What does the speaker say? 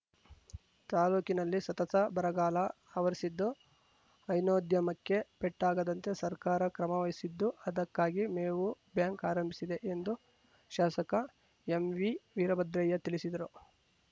ತಾಲ್ಲೂಕಿನಲ್ಲಿ ಸತತ ಬರಗಾಲ ಆವರಿಸಿದ್ದು ಹೈನೋದ್ಯಮಕ್ಕೆ ಪೆಟ್ಟಾಗದಂತೆ ಸರ್ಕಾರ ಕ್ರಮವಹಿಸಿದ್ದು ಅದಕ್ಕಾಗಿ ಮೇವು ಬ್ಯಾಂಕ್ ಆರಂಭಿಸಿದೆ ಎಂದು ಶಾಸಕ ಎಂವಿವೀರಭದ್ರಯ್ಯ ತಿಳಿಸಿದರು